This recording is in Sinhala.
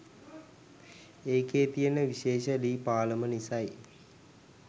ඒකෙ තියෙන විශේෂ ලී පාලම නිසයි.